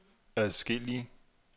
adskillige